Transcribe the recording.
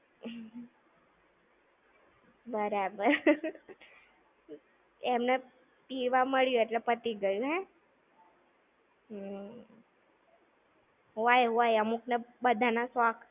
બરાબર. એમને પીવા મળ્યું એટલે પતિ ગયું. હે. હમ્મ. હોય હોય. અમુકને, બધા ના શોખ.